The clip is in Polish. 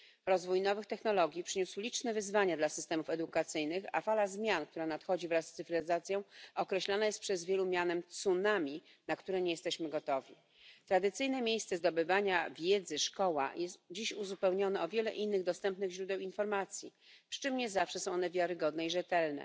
Rozwój nowych technologii przyniósł liczne wyzwania dla systemów edukacyjnych, a fala zmian nadchodzących wraz z cyfryzacją określana jest przez wielu mianem tsunami, na które nie jesteśmy gotowi. Tradycyjne miejsce zdobywania wiedzy, czyli szkoła, jest dziś uzupełnione o wiele innych dostępnych źródeł informacji, przy czym nie zawsze są one wiarygodne i rzetelne.